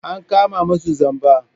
An kama masu zamba.